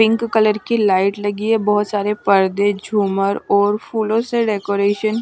pink colour की light लगी है बहुत सारे पर्दे झूमर और फूलों से डेकोरेशन --